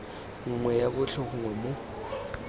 nngwe ya botlhe gongwe mo